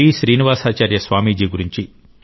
శ్రీనివాసాచార్య స్వామి జీ గురించి టి